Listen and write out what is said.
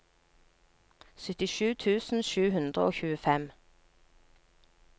syttisju tusen sju hundre og tjuefem